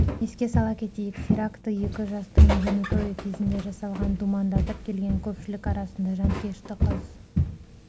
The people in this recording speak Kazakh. еске сала кетейік теракті екі жастың үйлену тойы кезінде жасалған думандатып келген көпшілік арасында жанкешті қыз